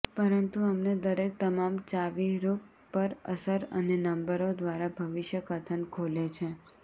પરંતુ અમને દરેક તમામ ચાવીરૂપ પર અસર અને નંબરો દ્વારા ભવિષ્યકથન ખોલે છે